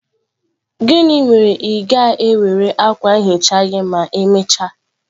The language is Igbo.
Gịnị ma ị ga-ewere akwa nhicha gị ma emechaa?